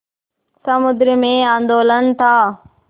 समुद्र में आंदोलन था